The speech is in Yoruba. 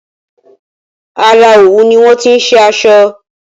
Ara òwú ni wọ́n ti se asọ